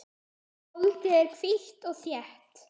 Holdið er hvítt og þétt.